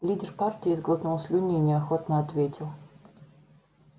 лидер партии сглотнул слюни и неохотно ответил